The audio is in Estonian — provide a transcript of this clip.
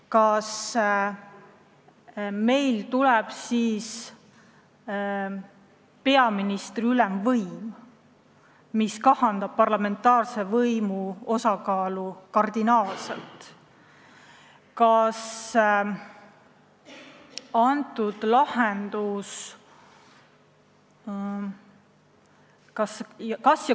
Kas meil tuleb siis peaministri ülemvõim, mis kahandab parlamentaarse võimu osakaalu kardinaalselt?